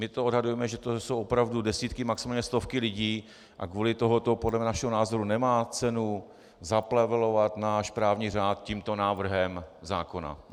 My to odhadujeme, že to jsou opravdu desítky, maximálně stovky lidí, a kvůli tomuto podle našeho názoru nemá cenu zaplevelovat náš právní řád tímto návrhem zákona.